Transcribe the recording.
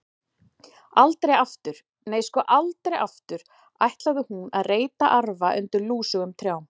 Aldrei aftur, nei, sko, aldrei aftur ætlaði hún að reyta arfa undir lúsugum trjám.